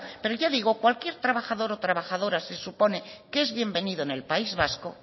pero ya digo cualquier trabajador o trabajadora se supone que es bienvenido en el país vasco